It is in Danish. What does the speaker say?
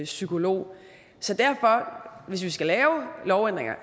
psykolog så hvis vi skal lave lovændringerne